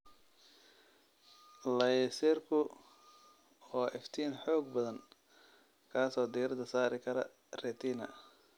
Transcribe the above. Layserku waa iftiin xoog badan kaas oo diirada saari kara retina.